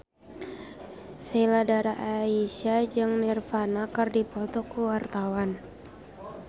Sheila Dara Aisha jeung Nirvana keur dipoto ku wartawan